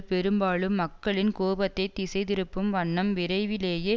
பெரும்பாலும் மக்களின் கோபத்தை திசைதிருப்பும் வண்ணம் விரைவிலேயே